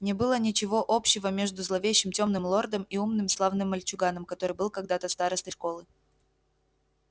не было ничего общего между зловещим тёмным лордом и умным славным мальчуганом который был когда-то старостой школы